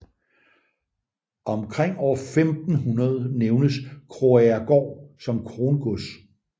Omkring år 1500 nævnes Krogagergaard som krongods